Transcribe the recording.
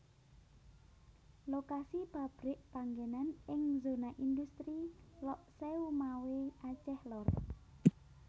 Lokasi pabrik panggenan ing zona industri Lhokseumawe Aceh Lor